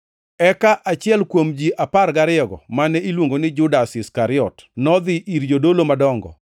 Eka achiel kuom ji apar gariyogo, mane iluongo ni Judas Iskariot, nodhi ir jodolo madongo,